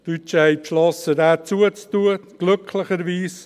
Die Deutschen haben beschlossen, diesen zu schliessen, glücklicherweise.